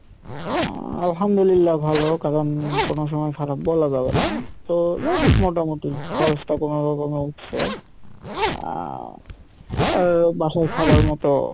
উম আলহামদুলিল্লাহ ভালো কারণ কোনো সময় খারাপ বলা যাবে না তো যাই হোক মোটামটি খরচ টা কোনোরকমে উঠসে আহ আর বাসায় খাবার মতো,